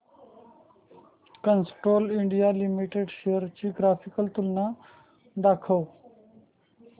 Castrol India limited shares ची graphical तुलना दाखव